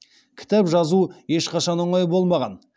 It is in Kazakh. кітап жазу ешқашан оңай болмаған